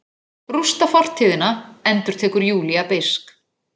Rústa fortíðina, endurtekur Júlía beisk.